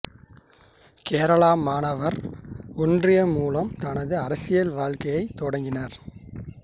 கேரள மாணவர் ஒன்றியம் மூலம் தனது அரசியல் வாழ்க்கையைத் தொடங்கினார்